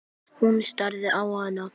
Hún starði á hana.